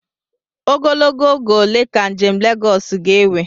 Ogologo oge ole ka njem Lagọọsu ga-ewe?